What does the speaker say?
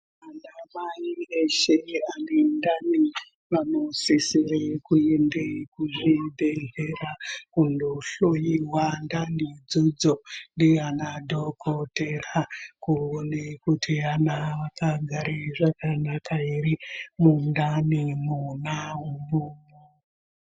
Anamai eshe anendani vanosisire kuende kuzvibhehlera kundohloyiwa ndani idzodzo ndiana dhogodhera kuone kuti ana akagare zvakanaka ere mundani mwona umwo.